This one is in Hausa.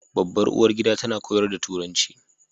Babbar uwargida tana koyar da Turanci